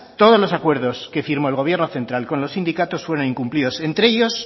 todos los acuerdos que firmó el gobierno central con los sindicatos fueron incumplidos entre ellos